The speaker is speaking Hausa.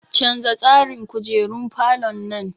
Canza tsarin kujerun falon nan!